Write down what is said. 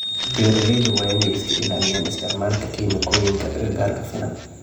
Beeralayda waa inay iska ilaaliyaan isticmaalka kiimikooyinka agagaarka finan.